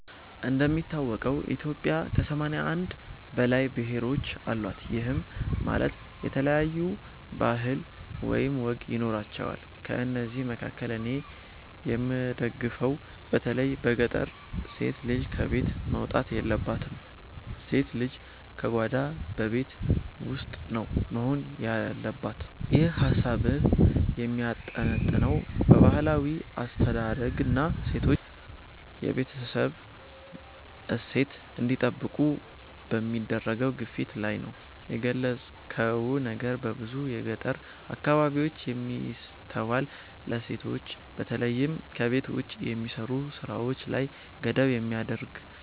እንደሚታወቀው ኢትዮጵያ ከ81 በላይ ብሔሮች አሏት፤ ይህም ማለት የተለያዩ ባህል ወይም ወግ ይኖራቸዋል። ከእነዚህ መካከል እኔ የምደግፈው በተለይ በገጠር ሴት ልጅ ከቤት መውጣት የለባትም፣ ሴት ልጅ በጓዳ (በቤት ውስጥ) ነው መሆን ያለባት። ይህ ሃሳብህ የሚያጠነጥነው በባህላዊ አስተዳደግና ሴቶች የቤተሰብን እሴት እንዲጠብቁ በሚደረገው ግፊት ላይ ነው። የገለጽከው ነገር በብዙ የገጠር አካባቢዎች የሚስተዋል፣ ለሴቶች በተለይም ከቤት ውጭ በሚሰሩ ስራዎች ላይ ገደብ የሚያደርግ